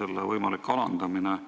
selle võimalik alandamine.